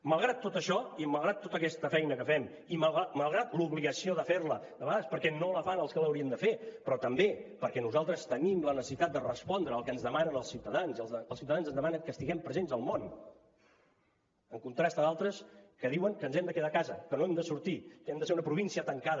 malgrat tot això i malgrat tota aquesta feina que fem i malgrat l’obligació de ferla de vegades perquè no la fan els que l’haurien de fer però també perquè nosaltres tenim la necessitat de respondre al que ens demanen els ciutadans i els ciutadans ens demanen que estiguem presents al món en contrast amb altres que diuen que ens hem de quedar a casa que no hem de sortir que hem de ser una província tancada